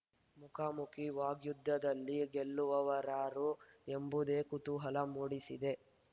ಮುಖಾಮುಖಿ ವಾಗ್ಯುದ್ಧದಲ್ಲಿ ಗೆಲ್ಲುವವರಾರು ಎಂಬುದೇ ಕುತೂಹಲ ಮೂಡಿಸಿದೆ